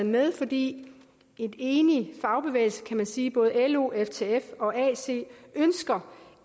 med fordi en enig fagbevægelse kan man sige både lo ftf og ac ønsker